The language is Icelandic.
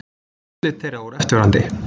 Úrslit þeirra voru eftirfarandi